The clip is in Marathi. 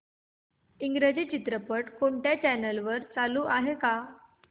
इंग्रजी चित्रपट कोणत्या चॅनल वर चालू आहे का